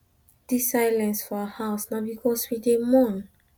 dis silence for for our house na because we dey mourn our mama wey die